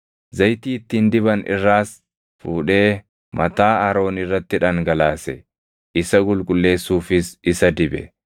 Zayitii ittiin diban irraas fuudhee mataa Aroon irratti dhangalaase; isa qulqulleessuufis isa dibe.